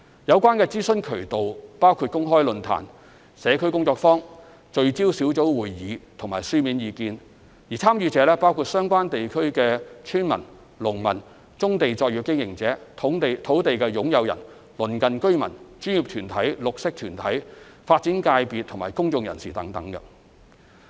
有關諮詢渠道包括公開論壇、社區工作坊、聚焦小組會議和書面意見，參與者包括相關地區的村民及農民、棕地作業經營者、土地擁有人、鄰近居民、專業團體、綠色團體、發展界別及公眾人士等。